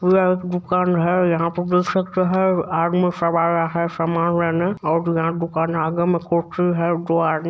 पूरा एक दुकान है यहां पर देख सकते है आदमी सब आया है सामान लेने और यहां दुकान है आगे में कुर्सी है दो आदमी --